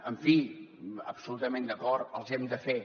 en fi absolutament d’acord els hem de fer